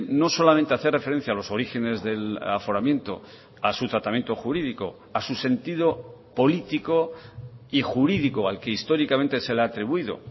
no solamente hacer referencia a los orígenes del aforamiento a su tratamiento jurídico a su sentido político y jurídico al que históricamente se le ha atribuido